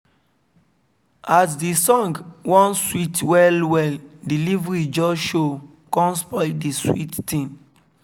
as the song wan sweet well well delivery just show kon spoil the sweet thing